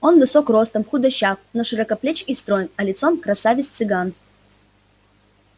он высок ростом худощав но широкоплеч и строен а лицом красавец цыган